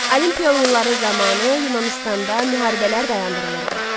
Olimpiya oyunları zamanı Yunanıstanda müharibələr dayandırılırdı.